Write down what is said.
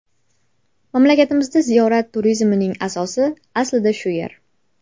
Mamlakatimizda ziyorat turizmining asosi aslida shu yer.